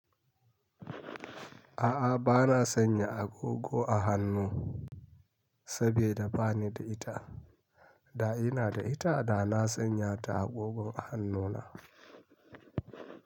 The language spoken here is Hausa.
A'a ba na sanya agogo a hannu sabida ba ni da ita. Da ina da ita da na sanya ta agogon a hannuna.